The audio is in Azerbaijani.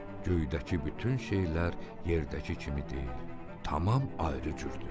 Göydəki bütün şeylər yerdəki kimi deyil, tamam ayrı cürdür.